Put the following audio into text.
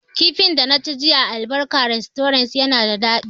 Kifin da na ci jiya a albarka restorant na da daɗi